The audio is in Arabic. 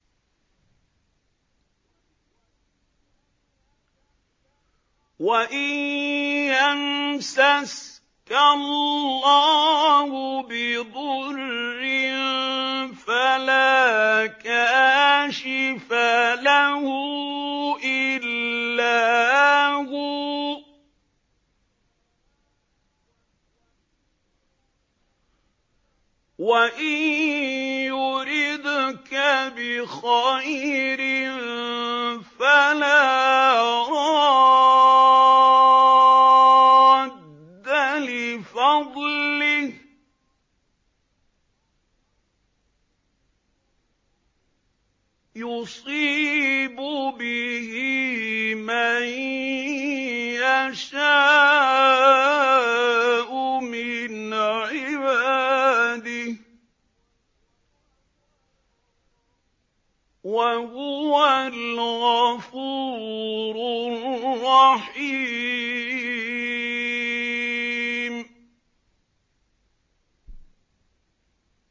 وَإِن يَمْسَسْكَ اللَّهُ بِضُرٍّ فَلَا كَاشِفَ لَهُ إِلَّا هُوَ ۖ وَإِن يُرِدْكَ بِخَيْرٍ فَلَا رَادَّ لِفَضْلِهِ ۚ يُصِيبُ بِهِ مَن يَشَاءُ مِنْ عِبَادِهِ ۚ وَهُوَ الْغَفُورُ الرَّحِيمُ